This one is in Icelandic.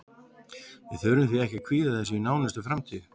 Við þurfum því ekki að kvíða þessu í nánustu framtíð.